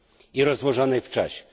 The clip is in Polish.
I rozłożonej w czasie.